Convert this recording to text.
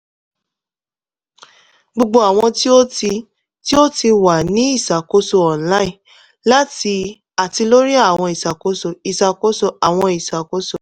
gbogbo awọn ti o ti ti o ti wa ni iṣakoso online ati lori awọn iṣakoso iṣakoso awọn iṣakoso